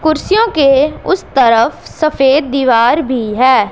कुर्सियों के उस तरफ सफेद दीवार भी है।